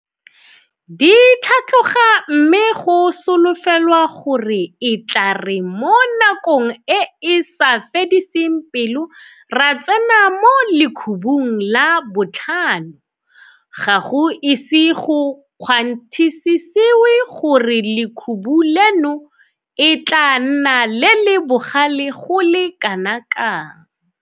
Di tlhatloga mme go solofelwa gore e tla re mo nakong e e sa fediseng pelo ra tsena mo lekhubung la botlhano, ga go ise go kgwanthisisewe gore lekhubu leno e tla nna le le bogale go le kanakang.